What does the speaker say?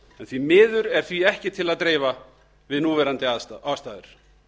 því miður er því ekki til að dreifa við núverandi aðstæður